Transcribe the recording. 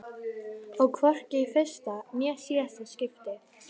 Og hvorki í fyrsta né síðasta skipti.